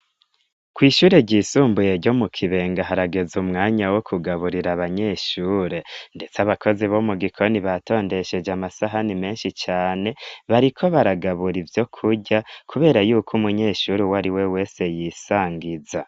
Kw'ishure ryisumbuye ryo mu kibenga harageza umwanya wo kugaburira abanyeshure, ndetse abakozi bo mu gikoni batondesheje amasahani menshi cane bariko baragabura ivyo kurya, kubera yuko umunyeshure uwe ari we wese yisangiza.